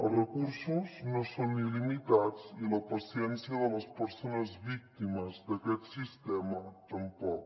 els recursos no són il·limitats i la paciència de les persones víctimes d’aquest sistema tampoc